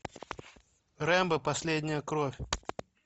рэмбо последняя кровь